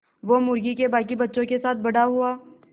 वो मुर्गी के बांकी बच्चों के साथ बड़ा हुआ